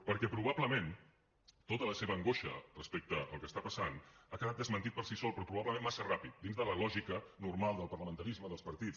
perquè probablement tota la seva angoixa respecte al que està passant ha quedat desmentida per si sola però probablement massa ràpid dins de la lògica normal del parlamentarisme dels partits